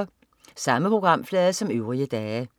Samme programflade som øvrige dage